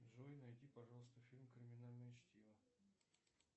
джой найди пожалуйста фильм криминальное чтиво